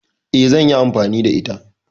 Eh, zanyi amfani da ita